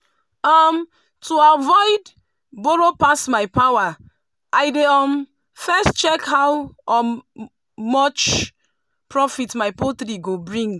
to avoid borrow pass my power i dey um first check how um much profit my poultry go bring.